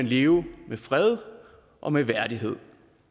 leve med fred og med værdighed